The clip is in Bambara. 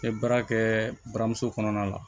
N bɛ baara kɛ buramuso kɔnɔna la